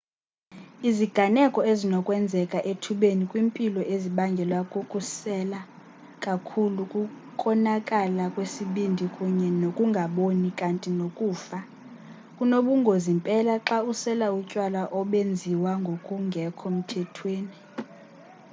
iziganeko ezinokwenzeka ethubeni kwimpilo ezibangelwa kukusela kakhulu kukonakala kwesibindi kunye nokungaboni kanti nokufa kunobungozi mpela xa usela utywala obenziwa ngokungekho mthethweni